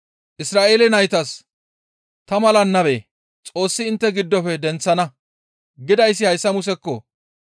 «Isra7eele naytas, ‹Ta mala nabe Xoossi intte giddofe denththana› gidayssi hayssa Musekko!